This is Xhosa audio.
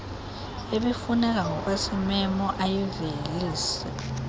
ebifuneka ngokwesimemo ayivelise